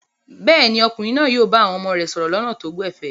Bẹ́ẹ̀ ni, ọkùnrin náà yóò bá àwọn ọmọ rẹ̀ sọ̀rọ̀ lọ́nà tó gbẹ̀fẹ̀.